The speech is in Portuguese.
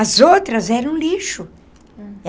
As outras eram lixo.